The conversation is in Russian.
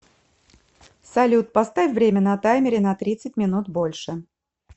салют поставь время на таймере на тридцать минут больше